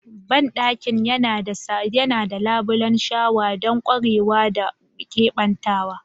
Bandakin yana da labulen shawa don ƙwarewa da keɓantawa.